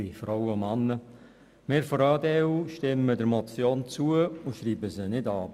Wir von der EDU stimmen der Motion zu und schreiben sie nicht ab.